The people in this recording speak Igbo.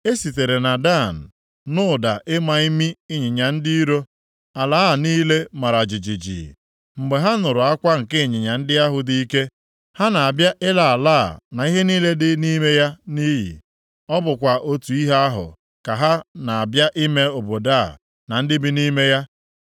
E sitere na Dan nụ ụda ịma imi ịnyịnya ndị iro. Ala a niile mara jijiji mgbe ha nụrụ akwa nke ịnyịnya ndị ahụ dị ike. Ha na-abịa ịla ala a na ihe niile dị nʼime ya nʼiyi. Ọ bụkwa otu ihe ahụ ka ha na-abịa ime obodo a na ndị bi nʼime ya.